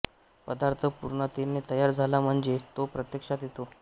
पदार्थ पूर्णतेने तयार झाला म्हणजे तो प्रत्यक्षात येतो